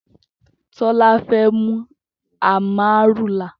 Tola fè mú àmárúlá